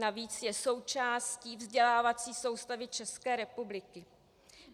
Navíc je součástí vzdělávací soustavy České republiky.